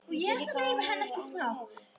Það getur líka meira en verið.